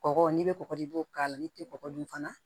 Kɔgɔ n'i bɛ kɔgɔ di i b'o k'a la n'i tɛ kɔgɔ dun fana